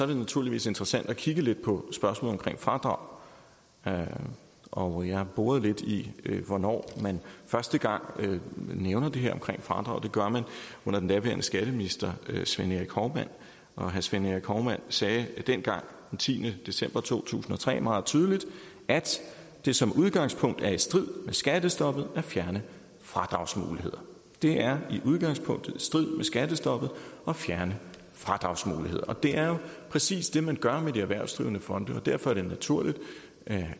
naturligvis interessant at kigge lidt på spørgsmålet om fradrag og og jeg har boret lidt i hvornår man første gang nævner det her om fradrag det gør man under den daværende skatteminister svend erik hovmand svend erik hovmand sagde dengang den tiende december to tusind og tre meget tydeligt at det som udgangspunkt er i strid med skattestoppet at fjerne fradragsmuligheder det er som udgangspunkt i strid med skattestoppet at fjerne fradragsmuligheder men det er jo præcis det man gør med de erhvervsdrivende fonde og derfor er det naturligt